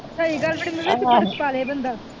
ਸਹੀ ਗੱਲ ਵੱਡੀ ਮੰਮੀ ਓਦੇ ਚ ਬਰਫ ਪਾਲੇ ਬੰਦਾ